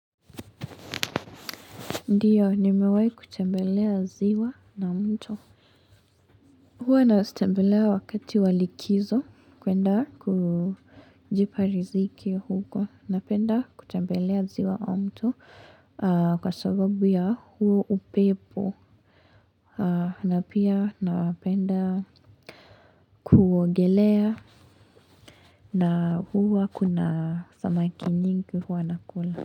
Ndiyo, nimewahi kutembelea ziwa na mto. Huwa na sitembelei wakati wa likizo, kuenda kujipa riziki huko. Napenda kutembelea ziwa au mto. Kwa sababu ya huo upepo. Na pia napenda kuogelea na huwa kuna samaki nyingi huwa nakula.